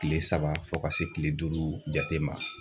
Kile saba fo ka se kile duuru jate ma.